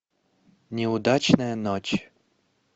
неудачная ночь